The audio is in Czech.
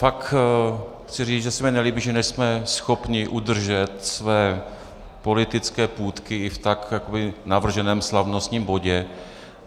Fakt chci říct, že se mi nelíbí, že nejsme schopni udržet své politické půtky i v tak navrženém slavnostním bodě.